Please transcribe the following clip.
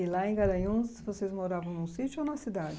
E lá em Garanhuns vocês moravam num sítio ou numa cidade?